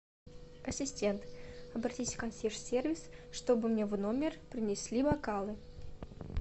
ассистент обратись в консьерж сервис чтобы мне в номер принесли бокалы